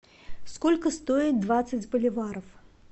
сколько стоит двадцать боливаров